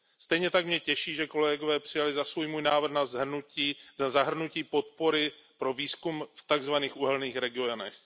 Stejně tak mě těší, že kolegové přijali za svůj můj návrh na zahrnutí podpory pro výzkum v tak zvaných uhelných regionech.